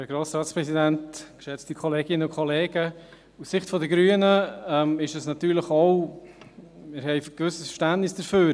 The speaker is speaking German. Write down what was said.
Aus Sicht der Grünen ist es natürlich auch so, dass wir ein gewisses Verständnis haben.